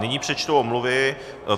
Nyní přečtu omluvy.